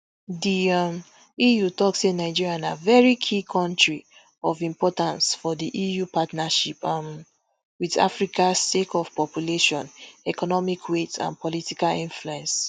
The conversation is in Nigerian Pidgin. di um eu tok say nigeria na very key kontri of importance for di eu partnership um wit africa sake of population economic weight and political influence